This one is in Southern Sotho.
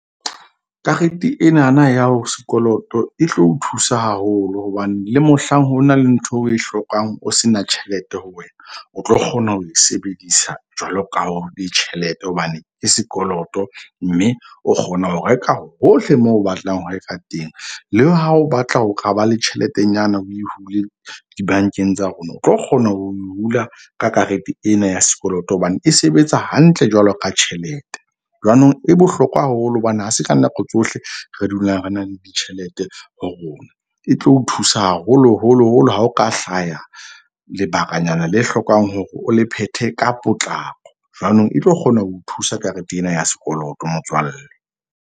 Karete enana ya ho sekoloto e tlo o thusa haholo. Hobane le mohlang ho na le ntho o e hlokang, o se na tjhelete ho wena, o tlo kgona ho e sebedisa jwalo ka o be tjhelete. Hobane ke sekoloto mme o kgona ho reka hohle moo o batlang ho reka teng. Le ha o batla ho kaba le tjheletenyana o e hule dibankeng tsa rona, o tlo kgona ho hula ka karete ena ya sekoloto. Hobane e sebetsa hantle jwalo ka tjhelete. Jwanong e bohlokwa haholo. Hobane ha se ka nako tsohle re dulang re na le ditjhelete ho rona. E tlo o thusa haholo holo holo ha ho ka hlaya lebakanyana le hlokang hore o le phethe ka potlako. Jwanong, e tlo kgona ho thusa karete ena ya sekoloto motswalle.